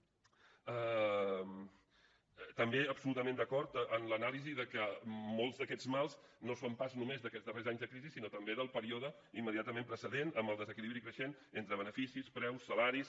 també absolutament d’acord amb l’anàlisi que molts d’aquests mals no són pas només d’aquests darrers anys de crisi sinó també del període immediatament precedent amb el desequilibri creixent entre beneficis preus salaris